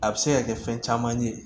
A bɛ se ka kɛ fɛn caman ye